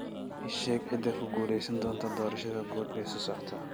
ii sheeg cidda ku guulaysan doonta doorashada guud ee soo socota